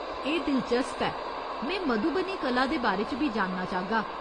एह् दिलचस्प ऐ, में मधुबनी कला दे बारे च बी जानना चाहगा।